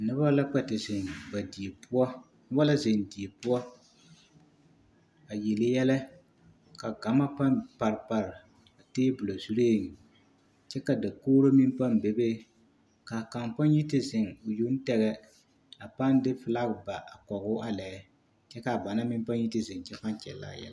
Noba la kpɛ te zeŋ ba die poɔ walansi die poɔ a yele yɛlɛ ka gama pãã pare pare teebolo zuriŋ kyɛ ka dakogiri meŋ pãã bebe k'a kaŋ pãã yi te zeŋ o yoŋ tegɛ a pãã de filaki ba kɔgoo a lɛ kyɛ k'a bannaŋ meŋ yi te zeŋ a pãã kyɛllɛ a yɛlɛ.